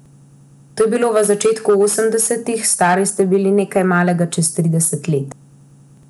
To je bilo v začetku osemdesetih, stari ste bili nekaj malega čez trideset let.